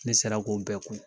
Ne sera k'o bɛɛ kun.